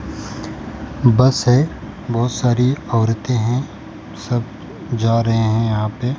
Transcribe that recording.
बस है बहुत सारी औरतें हैं सब जा रहे हैं यहां पे।